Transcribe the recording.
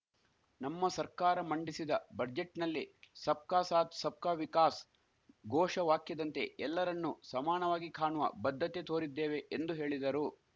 ನಮ್ಮ ಸರ್ಕಾರ ಮಂಡಿಸಿದ ಬಜೆಟ್‌ನಲ್ಲಿ ಸಬ್ಕಾ ಸಾಥ್‌ ಸಬ್ಕಾ ವಿಕಾಸ್‌ ಘೋಷ ವಾಖ್ಯದಂತೆ ಎಲ್ಲರನ್ನೂ ಸಮಾಣವಾಗಿ ಖಾಣುವ ಬದ್ಧತೆ ತೋರಿದ್ದೇವೆ ಎಂದು ಹೇಳಿದರು